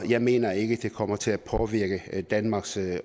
jeg mener ikke det kommer til at påvirke danmarks